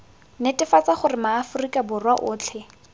netefatsa gore maaforika borwa otlhe